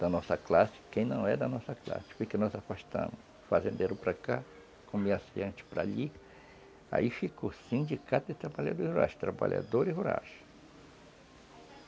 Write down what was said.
da nossa classe, quem não é da nossa classe, porque nós afastamos fazendeiro para cá, comerciante para ali, aí ficou sindicato de trabalhadores rurais, trabalhadores rurais.